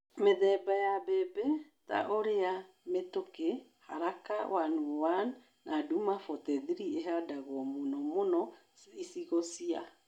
Mĩthemba ya mbembe ta ũrĩa Mĩtũkĩ, haraka 101 na Duma 43 ihandagwo mũno mũno icigo cia